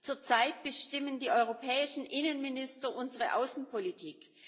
Zurzeit bestimmen die europäischen Innenminister unsere Außenpolitik.